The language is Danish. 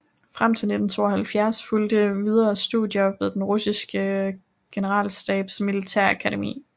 Frem til 1972 fulgte videre studier ved den russiske generalstabs militærakademi